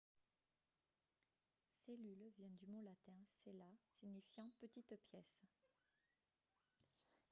cellule vient du mot latin cella signifiant petite pièce